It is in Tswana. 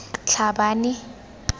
tlhabane